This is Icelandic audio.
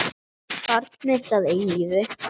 Barn mitt að eilífu.